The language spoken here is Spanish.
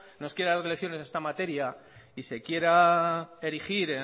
nos quiera dar lecciones de esta materia y se quiera erigir